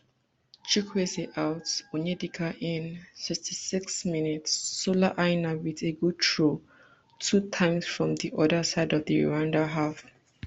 chukwueze out onyedika in sixty-six mins sola aina wit a good throw two times from dia oda side of di rwanda half